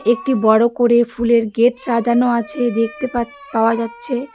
একটি বড়ো করে ফুলের গেট সাজানো আছে দেখতে পাছ-পাওয়া যাচ্ছে .